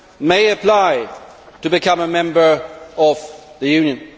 may apply to become a member of the Union.